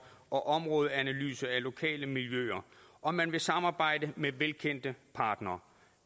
og områdeanalyse af lokale miljøer og man vil samarbejde med velkendte partnere